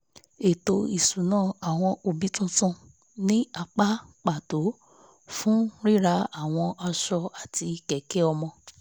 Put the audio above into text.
ètò isunawo àwọn òbí tuntun ní apá pàtó fún rírà àwọn aṣọ àti kẹ̀kẹ́ ọmọ